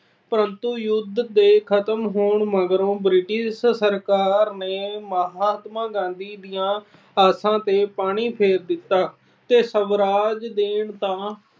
ਪਰੰਤੂ ਯੁੱਧ ਦੇ ਖਤਮ ਹੋਣ ਮਗਰੋਂ British ਸਰਕਾਰ ਨੇ ਮਹਾਤਮਾ ਗਾਂਧੀ ਦੀਆਂ ਆਸਾਂ ਤੇ ਪਾਣੀ ਫੇਰ ਦਿੱਤਾ ਤੇ ਸਵਰਾਜ ਦੇਣਾ ਤਾਂ